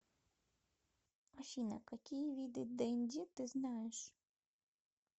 афина какие виды денди ты знаешь